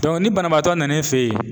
ni banabaatɔ nan'i fɛ yen.